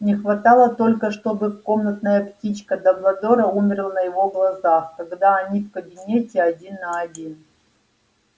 не хватало только чтобы комнатная птичка дамблдора умерла на его глазах когда они в кабинете один на один